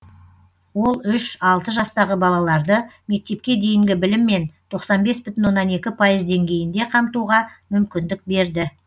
ол үш алты жастағы балаларды мектепке дейінгі біліммен тоқсан бес бүтін оннан екі пайыз деңгейінде қамтуға мүмкіндік берді